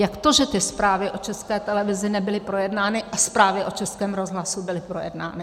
Jak to, že ty zprávy o České televizi nebyly projednány a zprávy o Českém rozhlasu byly projednány?